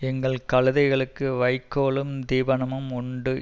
எங்கள் கழுதைகளுக்கு வைக்கோலும் தீபனமும் உண்டு